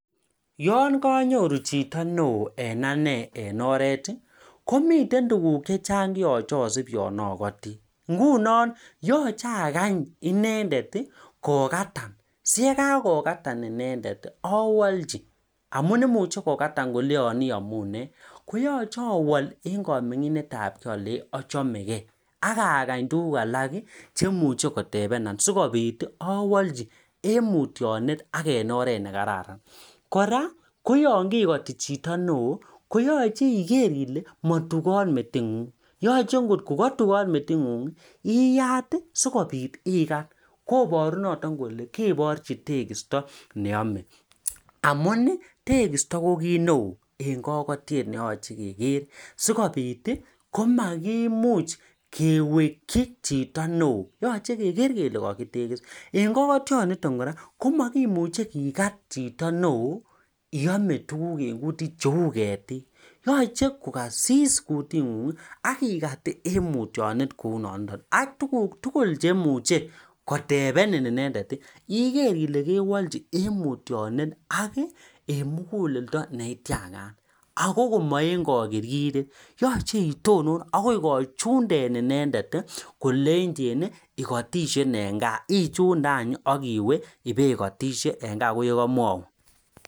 Akanyii inendet kokataa ye kakokataa awalchi inendet akakany tuguk chetebenoo sawalchi atya anai alee mami kii metit nyuu neuu kirashit ak mami kakirkiret